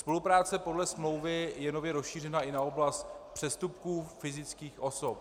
Spolupráce podle smlouvy je nově rozšířena i na oblast přestupků fyzických osob.